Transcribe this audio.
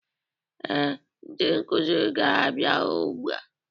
Ee, ndị nkuzi ga-abia ụgbụa